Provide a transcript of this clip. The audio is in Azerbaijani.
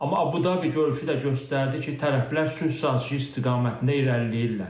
Amma Əbu-Dabi görüşü də göstərdi ki, tərəflər sülh sazişi istiqamətində irəliləyirlər.